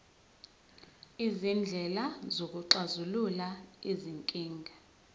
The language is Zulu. izindlela zokuxazulula izinkinga